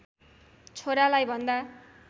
छोरालाई भन्दा